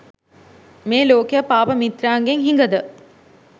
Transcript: මේ ලෝකය පාප මිත්‍රයන්ගෙන් හිඟද?